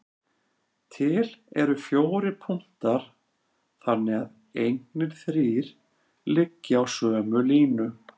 Til eru fjórir punktar þannig að engir þrír liggi á sömu línu.